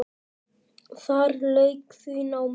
Þar lauk því námi.